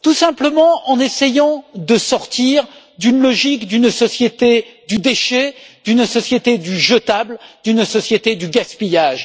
Tout simplement en essayant de sortir d'une logique d'une société du déchet, d'une société du jetable et d'une société du gaspillage.